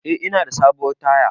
Eh ina da sabuwar taya